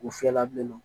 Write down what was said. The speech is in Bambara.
U fiyɛ la bilen